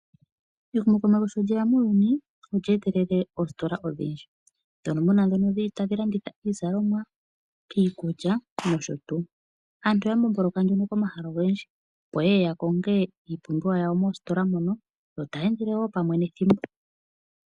Ehumokomeho sho lyeya muuyuni , olyeetelele oositola odhindji , ndhono muna dhono dhili tadhi landitha iizalomwa , iikulya noshotuu . Aantu oya mbomboloka nduno komahala ogendji opo yee ya konge iipumbiwa yawo moositola mono yo taa endele woo pamwe nethimbo .